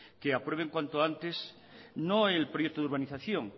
que aprueben cuanto antes no el proyecto de urbanización